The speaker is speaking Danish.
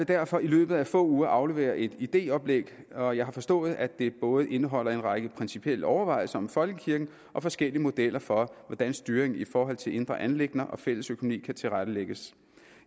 derfor i løbet af få uger aflevere et idéoplæg og jeg har forstået at det både indeholder en række principielle overvejelser om folkekirken og forskellige modeller for hvordan styring i forhold til indre anliggender og fælles økonomi kan tilrettelægges